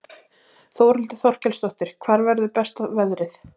Þórhildur Þorkelsdóttir: Hvar verður besta veðrið?